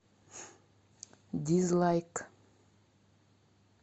дизлайк